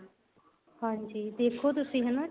ਹਾਂਜੀ ਦੇਖੋ ਤੁਸੀਂ ਹਨਾ